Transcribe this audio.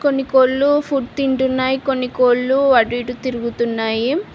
కొన్ని కోళ్లు ఫుడ్ తింటున్నాయి కొన్ని కోళ్లు అటు ఇటు తిరుగుతున్నాయి.